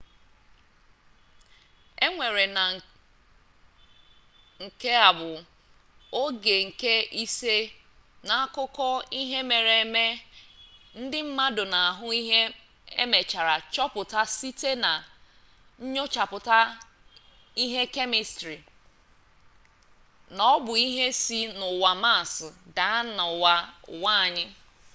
ekweere na nke a bụ oge nke ise n'akụkọ ihe mere eme ndị mmadụ na-ahụ ihe emechaara chọpụta site na nyochapụta ihe kemịstrị na ọbụ ihe si n'ụwa maas daa n'ụwa anyị